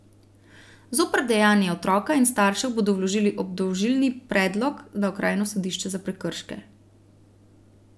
Zoper dejanje otroka in staršev bodo vložili obdolžilni predlog na okrajno sodišče za prekrške.